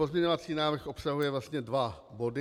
Pozměňovací návrh obsahuje vlastně dva body.